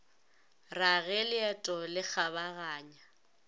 ra ge leeto le kgabaganya